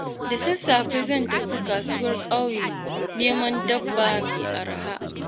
Da sassafe zan tafi kasuwar ƙauye neman dabba mai arha.